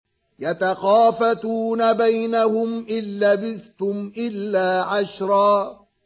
يَتَخَافَتُونَ بَيْنَهُمْ إِن لَّبِثْتُمْ إِلَّا عَشْرًا